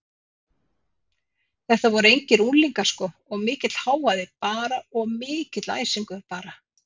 Þetta voru engir unglingar sko og mikill hávaði bara og mikill æsingur bara.